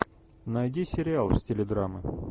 найди сериал в стиле драмы